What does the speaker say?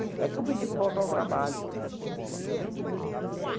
É que eu pedi para voltar ao trabalho. Uhum.